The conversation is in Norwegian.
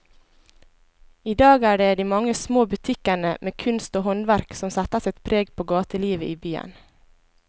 I dag er det de mange små butikkene med kunst og håndverk som setter sitt preg på gatelivet i byen.